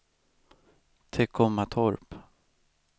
Teckomatorp